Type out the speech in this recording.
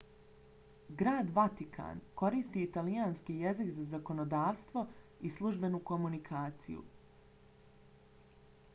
grad vatikan koristi italijanski jezik za zakonodavstvo i službenu komunikaciju